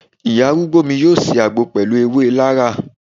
Ìyá arúgbó mi yọ ṣe àgbo pẹlu ewé laraa